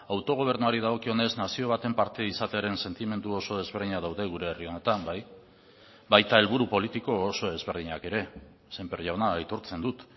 autogobernuari dagokionez nazio baten parte izatearen sentimendu oso desberdinak daude gure herri honetan bai baita helburu politiko oso ezberdinak ere sémper jauna aitortzen dut